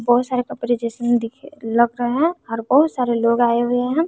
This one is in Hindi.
बहुत सारे कपड़े जिसमें दिख लग रहे हैं और बहुत सारे लोग आए हुए हैं।